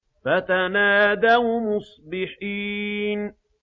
فَتَنَادَوْا مُصْبِحِينَ